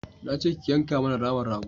Na ce ki yanka mana naman rago